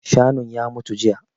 Shanun ya mutu jiya